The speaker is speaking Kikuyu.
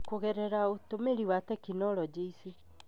Kũgerera ũtũmĩri wa tekinoronjĩ ici,